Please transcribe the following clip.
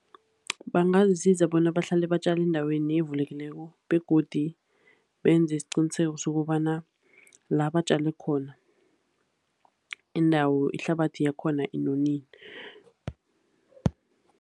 Bangazisiza bona bahlale batjale endaweni evulekileko begodu benze isiqiniseko sokobana la batjale khona indawo, ihlabathi yakhona inonile.